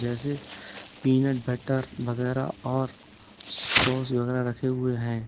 जैसे peanut butter वगैरा और सॉस वगैरा रखे हुए हैं।